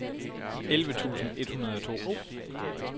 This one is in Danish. elleve tusind et hundrede og to